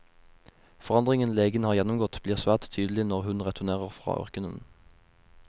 Forandringen legen har gjennomgått blir svært tydelig når hun returnerer fra ørkenen.